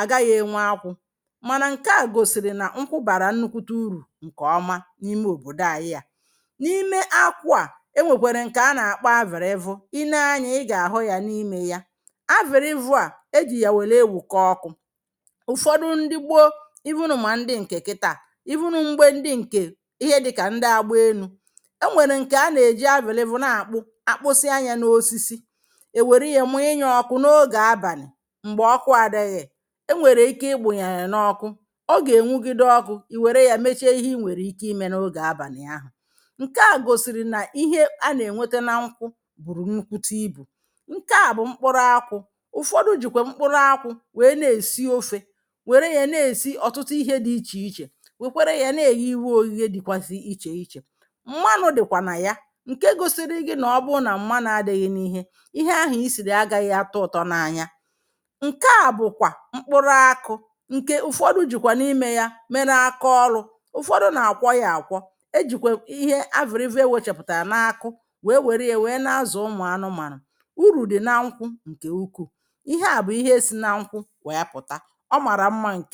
à gaghị̇ enwe akụ̇ mana nké a gosiri na nkwu bara nnukwute urù nke ọma n’ime òbòdo àyị yȧ. N’ime akụ̇ à ewèkwere ǹkè a nà-àkpọ avìl evu, i nee anyȧ ị gà-àhụ yà n’imė ya. Avìl evu à, e jì yà wèlè ewùkọ ọkụ̇, ụ̀fọdụ ndị gbo even mà ndị ǹkè kità even mgbe ndị ǹkè, ihe dịkà ndị agba elu̇. E nwèrè ǹkè a nà-èji avìl evụ̀ na-àkpụ, akpụsị a yȧ n’osisi, è wère yȧ mụ inyọ̇ ọkụ̇ n’ogè abàlì m̀gbè ọkụ adịghị̇. E nwèrè ike i munye ya oku, ọ ga enwugide ọkụ, ì nwèrè ya mee ihe i nwèrè ike ịme n'oge abali ahụ̀. Nke à gosiri na ihe ana enweta na nkwụ buru nnukwute ịbụ. Nke a bu mkpụrụ akwu, ụ̀fọdụ jìkwà mkpụrụ akwu esi ofe, nwèrè ya na esi ọ̀tụtụ ihe di ichè ichè, nwèkwèrè ya na eghe ife oghe ghe dịgasị ichè ichè. Mmanụ dịkwa na ya, nke gosiri gi na ọbụnà mmanu adịghị n'ihe, ihe ahụ ị siri agaghị àtọ ụtọ n'anya. Nke à bụ kwà mkpụrụ akụ, nke ụ̀fọdụ jikwa n’ime ya mèrè akaolu. Ụ̀fọdụ na-akwọ ya akwọ, ejikwe ihe avi̇l evu enwe chepụ̀tà na-akụ wèe wère ya wèe na-azụ̀ ụmụ̀ anụmanụ̀. Uru dị na nkwụ ǹkè ukwuù, ihe a bụ̀ ihe si na nkwụ wèe pụ̀ta, ọ màrà mma ǹkè